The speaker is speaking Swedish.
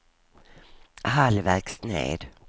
halvvägs ned